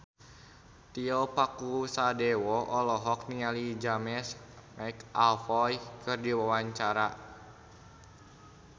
Tio Pakusadewo olohok ningali James McAvoy keur diwawancara